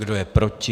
Kdo je proti?